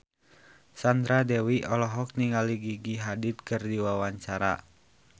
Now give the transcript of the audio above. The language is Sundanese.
Sandra Dewi olohok ningali Gigi Hadid keur diwawancara